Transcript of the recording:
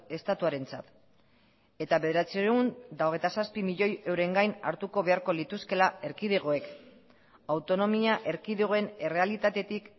estatuarentzat eta bederatziehun eta hogeita zazpi milioi euren gain hartuko beharko lituzkeela erkidegoek autonomia erkidegoen errealitatetik